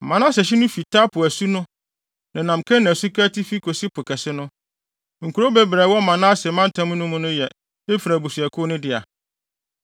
Manase hye no fi Tapua asu no, nenam Kana suka atifi kosi Po Kɛse no. (Nkurow bebree a ɛwɔ Manase mantam mu no yɛ Efraim abusuakuw no dea.)